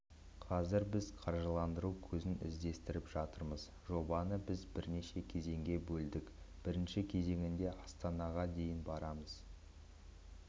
қазір біз қаржыландыру көзін іздестіріп жатырмыз жобаны біз бірнеше кезеңге бөлдік бірінші кезеңде астанаға дейін барамыз